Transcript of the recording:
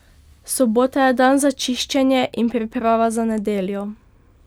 Sobota je dan za čiščenje in priprava za nedeljo.